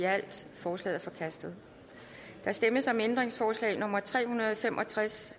halvtreds forslaget er forkastet der stemmes om ændringsforslag nummer tre hundrede og fem og tres